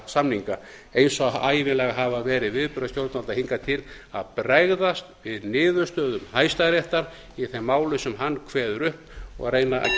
samninga eins og ævinlega hafa verið viðbrögð stjórnvalda hingað til að bregðast við niðurstöðum hæstaréttar í þeim málum sem hann kveður upp og reyna